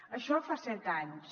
això fa set anys